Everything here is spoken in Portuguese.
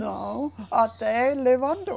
Não, até levantou.